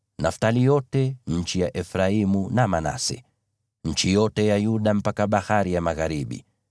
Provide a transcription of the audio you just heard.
Naftali yote, nchi ya Efraimu na Manase, nchi yote ya Yuda mpaka bahari ya magharibi,